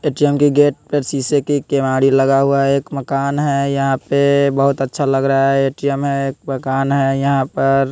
ATM के gate पर शीशे की केवाड़ी लगा हुआ है एक मकान है यहां पे बहोत अच्छा लग रहा है ए_टी_एम है एक मकान है यहां पर--